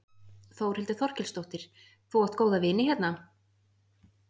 Þórhildur Þorkelsdóttir: Þú átt góða vini hérna?